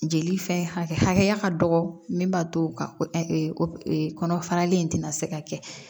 Jeli fɛn hakɛya ka dɔgɔ min b'a to o ka kɔnɔ faralen in tɛna se ka kɛ